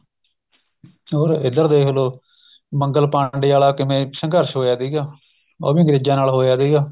ਇੱਧਰ ਦੇਖ ਲੋ ਮੰਗਲਪਾਂਡੇ ਵਾਲਾ ਕਿਵੇਂ ਸੰਘਰਸ਼ ਹੋਇਆ ਸੀਗਾ ਉਹ ਵੀ ਅੰਗਰੇਜਾ ਨਾਲ ਹੋਇਆ ਸੀਗਾ